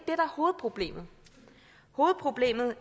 er hovedproblemet hovedproblemet